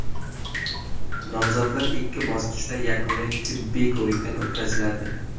Nomzodlar ikki bosqichda yakuniy tibbiy ko‘rikdan o‘tkaziladi.